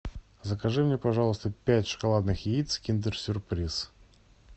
закажи мне пожалуйста пять шоколадных яиц киндер сюрприз